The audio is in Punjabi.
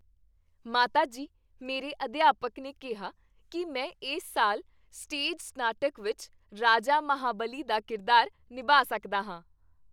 ਮਾਤਾ ਜੀ, ਮੇਰੇ ਅਧਿਆਪਕ ਨੇ ਕਿਹਾ ਕੀ ਮੈਂ ਇਸ ਸਾਲ ਸਟੇਜ ਨਾਟਕ ਵਿੱਚ ਰਾਜਾ ਮਹਾਂਬਲੀ ਦਾ ਕਿਰਦਾਰ ਨਿਭਾ ਸਕਦਾ ਹਾਂ।